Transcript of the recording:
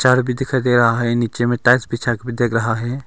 घर भी दिखाई दे रहा है नीचे में टाइल्स बिछा के भी देख रहा है।